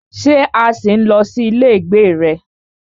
Ṣé a ṣì ń lọ sí ilé ìgbé rẹ?